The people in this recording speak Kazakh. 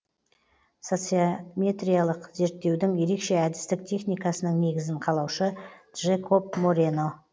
социометриялық зерттеудің ерекше әдістік техникасының негізін қалаушы джекоб морено